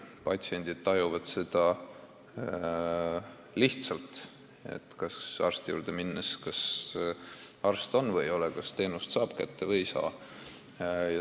Patsiendid tajuvad seda arsti juurde minnes lihtsalt: kas arst on või ei ole, kas teenuse saab kätte või ei saa.